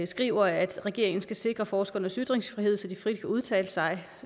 skriver at regeringen skal sikre forskernes ytringsfrihed så de frit kan udtale sig